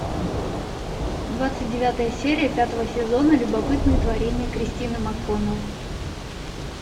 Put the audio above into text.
двадцать девятая серия пятого сезона любопытные творения кристины макконнелл